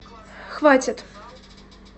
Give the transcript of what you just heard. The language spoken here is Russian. хватит